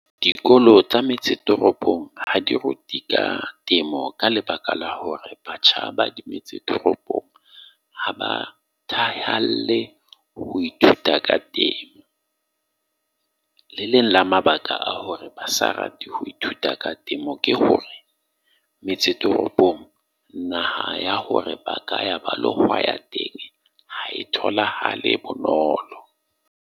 Dikolo tsa metse toropong ha di rute ka temo ka lebaka la hore batjha ba di metsi toropong ha ba ho ithuta ka temo. Le leng la mabaka a hore ba sa rate ho ithuta ka temo, ke hore metse toropong naha ya hore baka ea ba teng. tholahale bonolo.